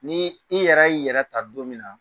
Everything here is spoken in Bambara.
Ni i yɛrɛ y'i yɛrɛ ta don min na